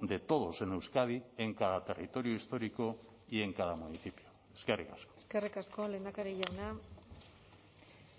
de todos en euskadi en cada territorio histórico y en cada municipio eskerrik asko eskerrik asko lehendakari jauna